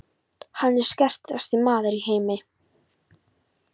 Hann er sterkasti maður í heimi!